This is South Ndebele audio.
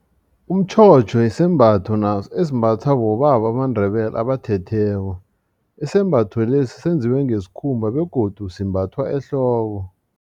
Umtjhotjho sisembatho esimbathwa bobaba bamaNdebele abathetheko isembatho lesi senziwe ngesikhumba begodu simbathwa ehloko.